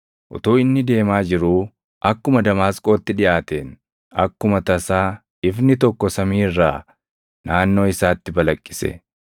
Utuu inni deemaa jiruu akkuma Damaasqootti dhiʼaateen akkuma tasaa ifni tokko samii irraa naannoo isaatti balaqqise.